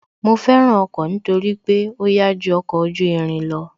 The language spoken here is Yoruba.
Mo fẹ́ràn ọkọ̀ nítorí pé ó yá ju ọkọ̀ ojú irin lọ